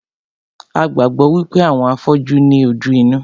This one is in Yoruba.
A gbàgbọ́ wípé àwọn afọ́jú ní ojú inú